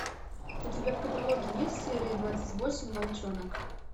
у тебя в каталоге есть серия двадцать восемь волчонок